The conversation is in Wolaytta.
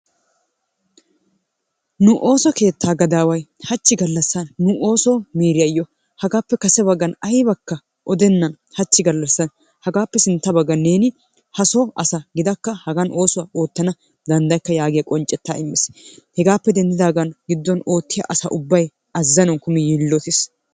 Nu ooso keettaa gadaway hachchi galassan nu ooso miriyayo hagaappe kase bagsn aybbane odennanbhachchi galassan hagsappee sintta bagan neeni haso asa gidakka hagaan oossuwa oottana dandayakka yagiya qonccettaa immiis. Hegaappee denddidagaan oosuwaa oottiya asa ubbay azanawun kummi yiilottis.